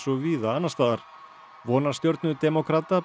og víða annars staðar vonarstjörnu demókrata